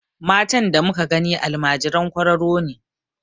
Matan da muka gani almajiran kwararo ne.